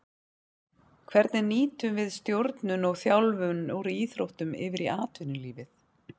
Hvernig nýtum við stjórnun og þjálfun úr íþróttum yfir í atvinnulífið.